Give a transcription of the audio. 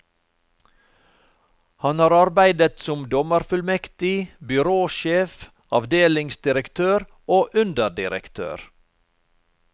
Han har arbeidet som dommerfullmektig, byråsjef, avdelingsdirektør og underdirektør.